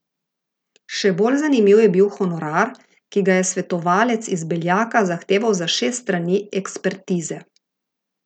Še bolj zanimiv je bil honorar, ki ga je svetovalec iz Beljaka zahteval za šest strani ekspertize.